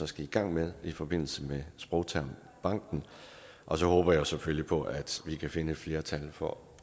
skal i gang med i forbindelse med sprogtermbanken og så håber jeg selvfølgelig på at vi kan finde et flertal for